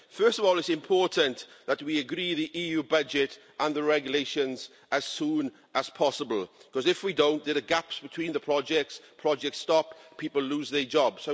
First of all, it is important that we agree the EU budget and the regulations as soon as possible, because if we don't there will be gaps between the projects, projects will stop, people will lose their jobs.